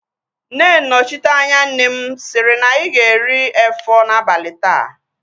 Nne nnọchiteanya nne m sịrị na anyị ga-eri efọ n'abalị taa